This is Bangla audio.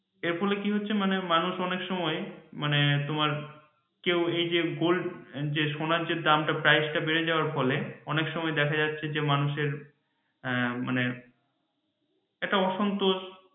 এরপরে কি হচ্ছে মানে মানুষ অনেক সময় মানে তোমার কেউ এই যে gold সোনার যে দাম টা price টা বেড়ে যাওয়ার ফলে অনেক সময় দেখা যাচ্ছে যে মানুষের মানে একটা অসন্তোষ